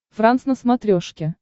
франс на смотрешке